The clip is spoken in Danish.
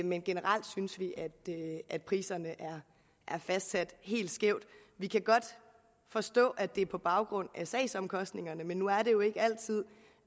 men generelt synes vi at priserne er fastsat helt skævt vi kan godt forstå at det er på baggrund af sagsomkostningerne men nu er det jo ikke altid